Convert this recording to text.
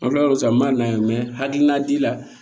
An kila l'o la sisan n m'a lajɛ hakilina ti la